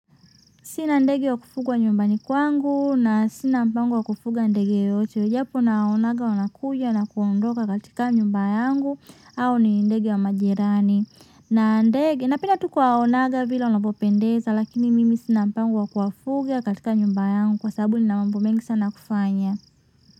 Sina ndege wa kufugwa nyumbani kwangu na sina mpango wa kufuga ndege yeyote japo nawaonanga wanakuja na kuondoka katika nyumba yangu au ni ndege wa majirani na ndege napenda tu kuwaonanga vile wanavyopendeza lakini mimi sina mpango wa kuwafuga katika nyumba yangu kwa sababu nina mambo mengi sana ya kufanya.